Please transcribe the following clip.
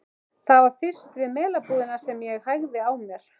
Það var fyrst við Melabúðina sem ég hægði á mér.